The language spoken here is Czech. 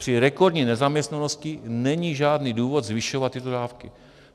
Při rekordní nezaměstnanosti není žádný důvod zvyšovat tyto dávky.